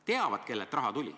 Teavad, kellelt raha tuli.